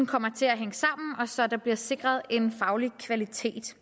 kommer til at hænge sammen og så der bliver sikret en faglig kvalitet til